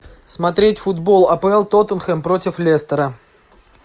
смотреть футбол апл тоттенхэм против лестера